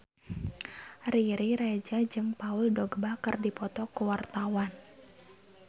Riri Reza jeung Paul Dogba keur dipoto ku wartawan